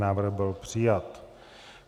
Návrh byl přijat.